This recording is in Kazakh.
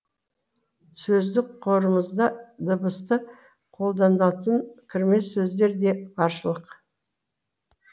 сөздік қорымызда дыбысы қолданылатын кірме сөздер де баршылық